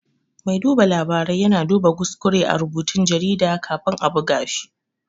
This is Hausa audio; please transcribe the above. Mai duba labarai ya na duba kuskure a rubutun jarida kafin a buga shi